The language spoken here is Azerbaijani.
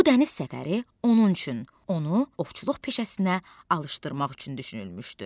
Bu dəniz səfəri onun üçün, onu ovçuluq peşəsinə alışdırmaq üçün düşünülmüşdü.